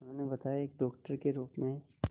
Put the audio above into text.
उन्होंने बताया एक डॉक्टर के रूप में